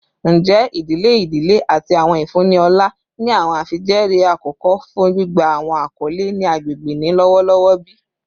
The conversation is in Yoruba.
Njẹ idile idile ati awọn ifunni ọlá ni awọn afijẹẹri akọkọ fun gbigba awọn akọle ni agbegbe ni lọwọlọwọ bi?